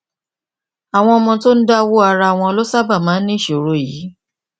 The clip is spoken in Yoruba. àwọn ọmọ tó ń dáwó ara wọn ló sábà máa ń ní ìṣòro yìí